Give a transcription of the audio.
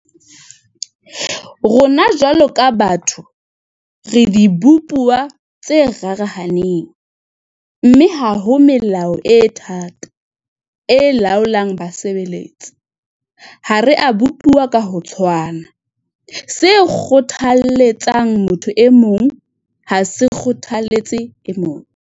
Rona jwalo ka batho, re dibopuwa tse rarahaneng, mme ha ho melao e thata, e laolang basebeletsi. Ha re a bopuwa ka ho tshwana. Se kgothaletsang motho e mong ha se kgothaletse e mong.